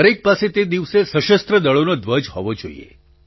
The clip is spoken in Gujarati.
દરેક પાસે તે દિવસે સશસ્ત્ર દળોનો ધ્વજ હોવો જ જોઈએ